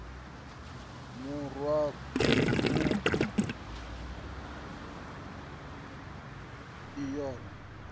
mu rwa makhwa i yone